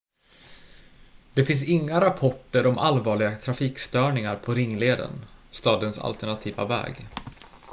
det fanns inga rapporter om allvarliga trafikstörningar på ringleden stadens alternativa väg